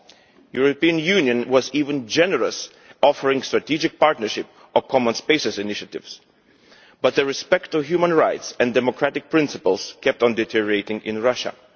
The European Union was even generous in offering strategic partnership or common spaces' initiatives, but the respect of human rights and democratic principles kept on deteriorating in Russia.